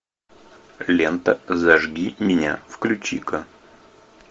лента зажги меня включи ка